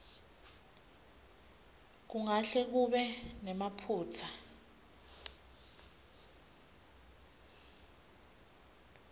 kungahle kube nemaphutsa